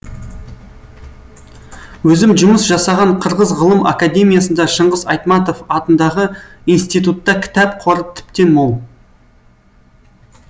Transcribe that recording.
өзім жұмыс жасаған қырғыз ғылым академиясында шыңғыс айтматов атындағы институтта кітап қоры тіптен мол